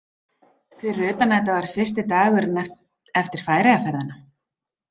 Fyrir utan að þetta var fyrsti dagurinn eftir Færeyjaferðina.